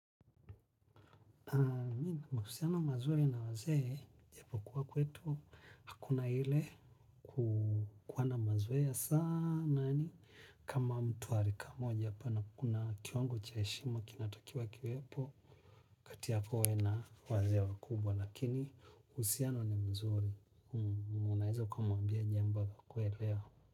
Mi nina mahusiano mazuri na wazee japo kuwa kwetu hakuna ile kuwa na mazoea sana yani kama mtu wa rika moja hapa na kuna kiwango cha heshima kina takiwa kiwepo, kati yako we na wazee wakubwa, lakini uhusiano ni mzuri, unaweza ukamwambia jambo akakuelewa.